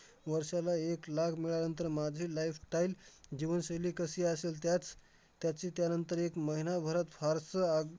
वर्षाला एक लाख मिळाल्यानंतर माझे lifestyle जीवनशैली कशी असेल त्याच त्याचे त्यानंतर एक महिन्याभरात फारसं आग